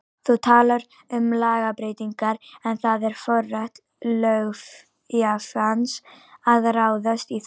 Þú talar um lagabreytingar en það er á forræði löggjafans að ráðast í þær?